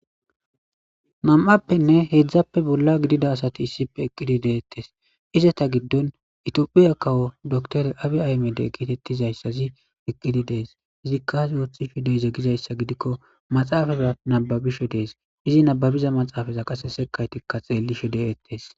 Nam'appenne heedzdzappe bolla gidida asati issipe eqqidi deettes izata giddon itiophiya kawo doktore abi aymede kiitettizayssazi eqqidi dees izikkazi wooththi fideyze gizayssa gidikko maxaafaza nababishe dees izi nababiza maxaafaza qase sekaytikka xeellishe de'ettes.